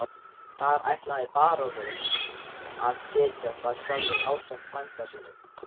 Þar ætlaði baróninn að setjast að sjálfur ásamt frænda sínum.